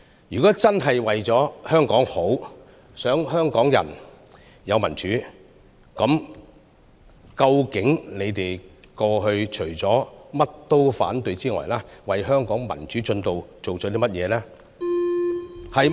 如果反對派議員真的是為香港好，想香港人有民主，那麼敢問：你們過去除了凡事必反之外，究竟為香港民主進程做了甚麼？